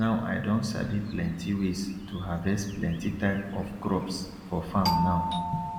now i don sabi plenty ways to harvest plenty type of crops for farm now